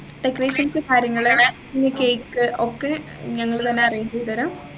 decorations കാര്യങ്ങള് പിന്നെ cake ഒക്കെ ഞങ്ങൾ തന്നെ arrange ചെയ്തുതരാം